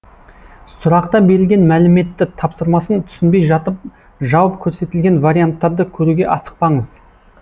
сұрақта берілген мәліметті тапсырмасын түсінбей жатып жауап көрсетілген варианттарды көруге асықпаңыз